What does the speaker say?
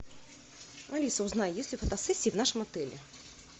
алиса узнай есть ли фотосессия в нашем отеле